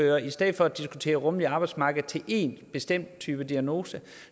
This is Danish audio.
jeg i stedet for at diskutere rummeligt arbejdsmarked til én bestemt type diagnose